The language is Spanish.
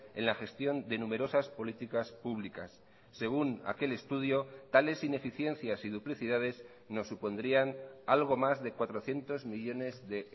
en la gestión de numerosas políticas públicas según aquel estudio tales ineficiencias y duplicidades nos supondrían algo más de cuatrocientos millónes de